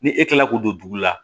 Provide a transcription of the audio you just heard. Ni e kilala k'o don dugu la